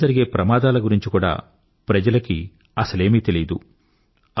దానివాల జరిగే ప్రమాదాల గురించి కూడా ప్రజలకి అసలేమీ తెలియదు